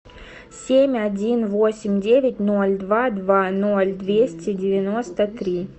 семь один восемь девять ноль два два ноль двести девяносто три